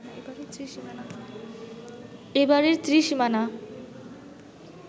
এ বাড়ির ত্রিসীমানা